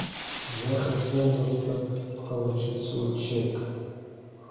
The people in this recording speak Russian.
я хотел бы получить свой чек